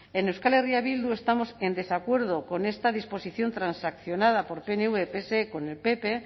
en euskal herria bildu estamos en desacuerdo con esta disposición transaccionada por pnv pse con el pp